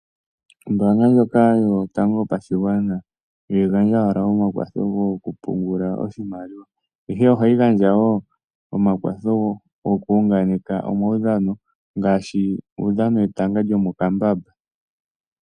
Ombaanga ndjoka Yotango Yopashigwana ihayi gandja owala omakwatho gokupungula oshimaliwa, ihe ohayi gandja wo omakwatho gokuunganeka omaudhano ngaashi uudhano wetanga lyomokambamba.